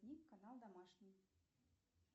канал домашний